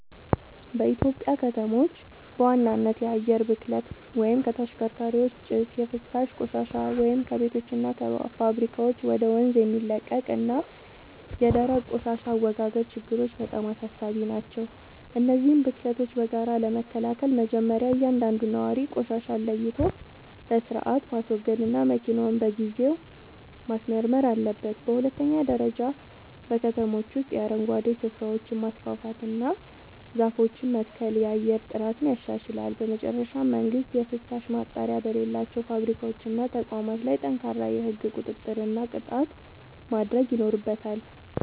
በኢትዮጵያ ከተሞች በዋናነት የአየር ብክለት (ከተሽከርካሪዎች ጭስ)፣ የፍሳሽ ቆሻሻ (ከቤቶችና ከፋብሪካዎች ወደ ወንዝ የሚለቀቅ) እና የደረቅ ቆሻሻ አወጋገድ ችግሮች በጣም አሳሳቢ ናቸው። እነዚህን ብክለቶች በጋራ ለመከላከል መጀመርያ እያንዳንዱ ነዋሪ ቆሻሻን ለይቶ በሥርዓት ማስወገድና መኪናውን በየጊዜው ማስመርመር አለበት። በሁለተኛ ደረጃ በከተሞች ውስጥ የአረንጓዴ ስፍራዎችን ማስፋፋትና ዛፎችን መትከል የአየር ጥራትን ያሻሽላል። በመጨረሻም መንግሥት የፍሳሽ ማጣሪያ በሌላቸው ፋብሪካዎችና ተቋማት ላይ ጠንካራ የሕግ ቁጥጥርና ቅጣት ማድረግ ይኖርበታል።